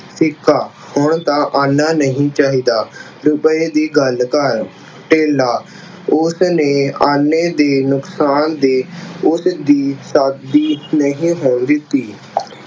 ਸਿੱਕਾ, ਹੁਣ ਤਾਂ ਆਨਾ ਨਹੀਂ ਚਾਹੀਦਾ, ਰੁਪਏ ਦੀ ਗੱਲ ਕਰ। ਧੇਲਾ, ਉਸਨੇ ਆਨੇ ਦੀ ਨੁਕਸਾਨ ਦੇ ਉਸਦੀ ਸ਼ਾਦੀ ਨਹੀਂ ਹੋਣ ਦਿੱਤੀ।